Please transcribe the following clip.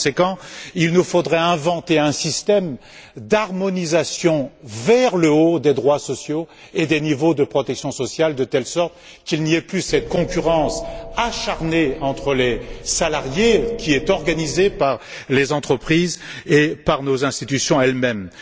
Par conséquent, il nous faudrait inventer un système d'harmonisation vers le haut des droits sociaux et des niveaux de protection sociale, de telle sorte qu'il n'y ait plus cette concurrence acharnée entre les salariés, organisée par les entreprises et nos institutions elles mêmes.